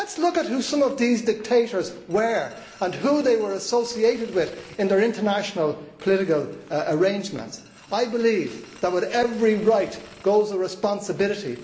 Let us look at who some of those dictators were and who they were associated with in their international, political arrangement. I believe that with every right goes a responsibility